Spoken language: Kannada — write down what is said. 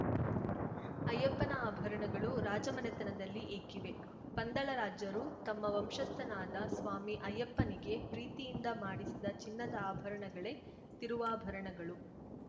ಅಯ್ಯಪ್ಪನ ಆಭರಣಗಳು ರಾಜಮನೆತನದಲ್ಲಿ ಏಕಿವೆ ಪಂದಳ ರಾಜ್ಯರು ತಮ್ಮ ವಂಶಸ್ಥನಾದ ಸ್ವಾಮಿ ಅಯ್ಯಪ್ಪನಿಗೆ ಪ್ರೀತಿಯಿಂದ ಮಾಡಿಸಿದ ಚಿನ್ನದ ಆಭರಣಗಳೇ ತಿರುವಾಭರಣಗಳು